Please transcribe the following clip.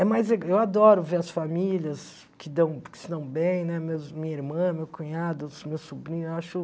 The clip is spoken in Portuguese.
É mais le eu adoro ver as famílias que dão que se dão bem, né, meus minha irmã, meu cunhado, meu sobrinho, eu acho...